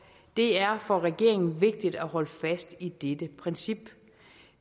det er for regeringen vigtigt at holde fast i dette princip